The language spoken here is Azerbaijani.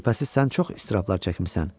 Şübhəsiz sən çox israfatlar çəkmisən.